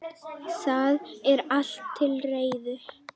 Það er allt til reiðu.